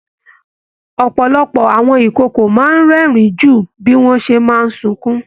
Ọpọlọpọ àwọn ikòkò máa n rẹ́rìn jù bí wọn ṣe máa sunkún.